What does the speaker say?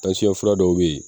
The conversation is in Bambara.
fura dɔw bɛ yen